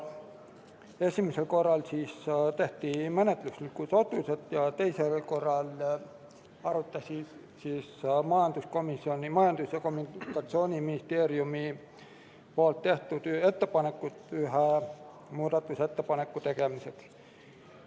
Esimesel korral tehti menetluslikud otsused ja teisel korral arutas komisjon Majandus- ja Kommunikatsiooniministeeriumi tehtud ettepanekut ühe muudatusettepaneku tegemiseks.